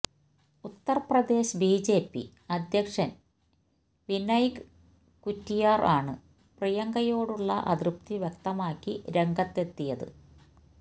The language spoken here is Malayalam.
ഉത്തര്പ്രദേശ് ബി ജെ പി അധ്യക്ഷന് വിനയ്ക് കറ്റിയാര് ആണ് പ്രിയങ്കയോടുള്ള അതൃപ്തി വ്യക്തമാക്കി രംഗത്തെത്തിയത്